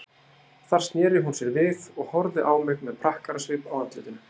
Þar sneri hún sér við og horfði á mig með prakkarasvip á andlitinu.